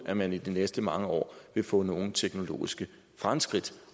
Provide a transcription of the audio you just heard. at man i de næste mange år vil få nogen teknologiske fremskridt